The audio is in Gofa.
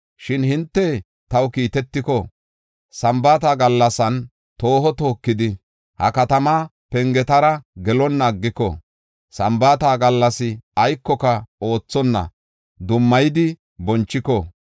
Shin hinte taw kiitetiko, Sambaata gallasan tooho tookidi, ha katamaa pengetara gelonna aggiko, Sambaata gallas aykoka oothonna dummayidi bonchiko,